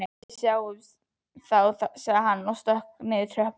Við sjáumst þá sagði hann og stökk niður tröppurnar.